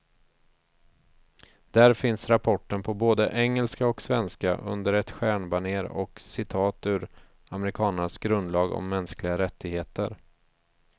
Där finns rapporten på både engelska och svenska, under ett stjärnbanér och citat ur amerikanernas grundlag om mänskliga rättigheter.